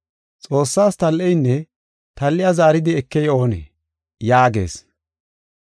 Xoossaas tal7eynne tal7iya zaaridi ekey oonee?” yaagees.